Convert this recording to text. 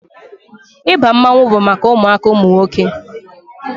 Ịba mmanwụ bụ maka ụmụaka ụmụ nwoke